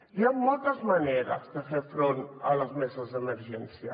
hi han moltes maneres de fer front a les meses d’emergència